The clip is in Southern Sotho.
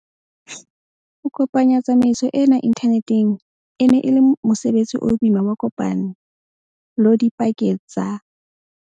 Ho kopanya tsamaiso ena inthaneteng e ne e le mose betsi o boima wa kopane lo dipakeng tsa